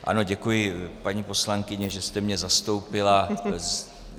Ano, děkuji, paní poslankyně, že jste mě zastoupila.